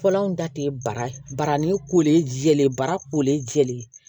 Fɔlɔ anw ta tɛ bara barani ko jɛlen bara kolen jɛlen